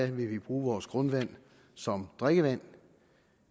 vil bruge vores grundvand som drikkevand